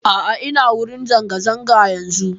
A'a ina wurin zanga-zanga yanzun.